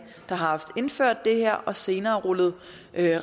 der har indført det her og som senere har rullet